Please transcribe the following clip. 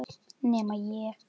Svenni er þungt hugsi.